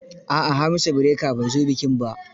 A'a, Hamisu Breaker bai zo bikin ba.